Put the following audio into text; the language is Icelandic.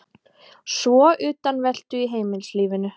Svo utanveltu í heimilislífinu.